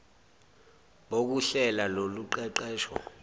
bokuhlela lolu qeqesho